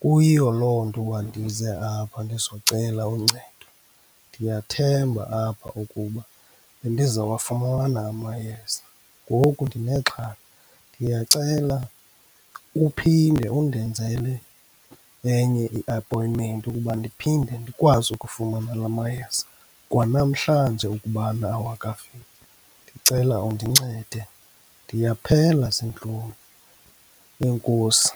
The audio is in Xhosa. Kuyiyo loo nto uba ndize apha ndizocela uncedo, ndiyathemba apha ukuba ndizowafumana amayeza, ngoku ndinexhala. Ndiyacela uphinde undenzele enye i-appointment ukuba ndiphinde ndikwazi ukufumana la mayeza, kwanamhlanje ukubana awakafiki. Ndicela undincede, ndiyaphela ziintlungu. Enkosi.